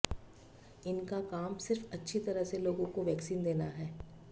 इनका काम सिर्फ अच्छी तरह से लोगों को वैक्सीन देना है